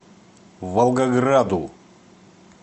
волгограду